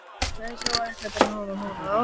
Farið hægar í breytingar á vörugjöldum